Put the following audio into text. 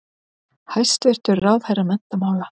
Hæstvirtur ráðherra menntamála.